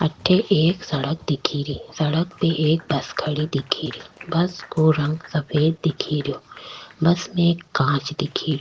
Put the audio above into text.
अठे एक सड़क दिखे री सड़क पे एक बस खड़ी दिखे री बस को रंग सफेद दिखे रो बस में कांच दिखे रो।